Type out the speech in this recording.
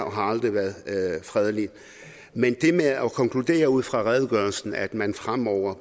og har aldrig været fredelig men det med at konkludere ud fra redegørelsen at man fremover